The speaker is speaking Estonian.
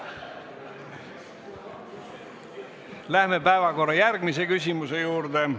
Läheme päevakorra järgmise küsimuse juurde.